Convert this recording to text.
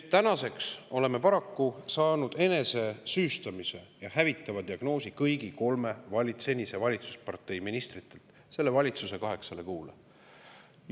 Tänaseks oleme paraku saanud enesesüüstamise ja hävitava diagnoosi kõigi kolme senise valitsuspartei ministritelt selle valitsuse kaheksale kuule.